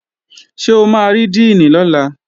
Ṣé o máa rí díìnì lọ́la?